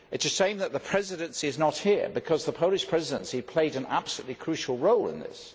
It is a shame that the Presidency is not here, because the Polish Presidency played an absolutely crucial role in this.